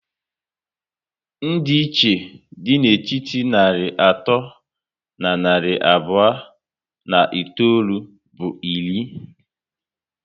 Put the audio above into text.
Ndi iche dị na etiti narị atọ na narị abụọ na itoolu bụ iri